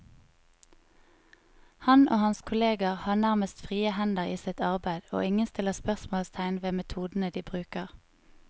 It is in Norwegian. Han og hans kolleger har nærmest frie hender i sitt arbeid, og ingen stiller spørsmålstegn ved metodene de bruker.